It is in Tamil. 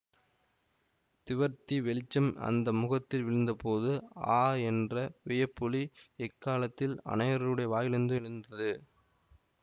திவர்த்தி வெளிச்சம் அந்த முகத்தில் விழுந்தபோது ஆ என்ற வியப்பொலி ஏக்காலத்தில் அநேகருடைய வாயிலிருந்து எழுந்தது